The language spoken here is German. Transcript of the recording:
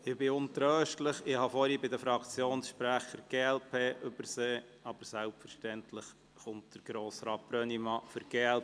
Ich bin untröstlich, ich habe vorhin bei den Fraktionssprechern die glp übersehen, aber selbstverständlich spricht nun Grossrat Brönnimann für die glp.